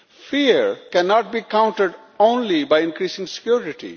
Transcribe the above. Fear cannot be countered only by increasing security.